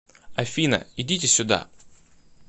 афина идите сюда